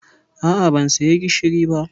A'a, ban saya gishiri ba